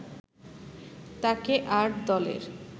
তাকে আর দলের